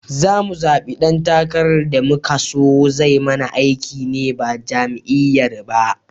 Zamu zaɓi dan takarar da muka son zai mana aiki ne ba jam'iyyar ba